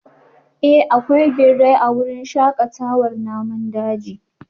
Eh akwai birai a wurin shakatawar namun daji